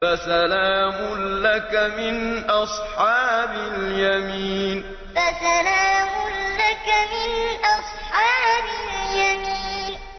فَسَلَامٌ لَّكَ مِنْ أَصْحَابِ الْيَمِينِ فَسَلَامٌ لَّكَ مِنْ أَصْحَابِ الْيَمِينِ